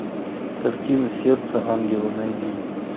картина сердце ангела найди